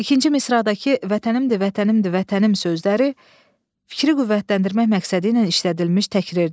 İkinci misradakı vətənimdir, vətənimdir, vətənim sözləri fikri qüvvətləndirmək məqsədi ilə işlədilmiş təkrirdir.